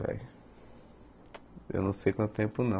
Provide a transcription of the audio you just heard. Eu não sei quanto tempo não.